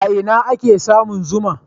A ina ake samun zuma?